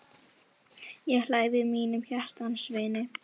Ég hlæ við mínum hjartans vini.